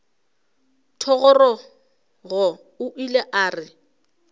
thogorogo o ile a re